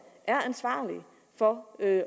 er ansvarlige for at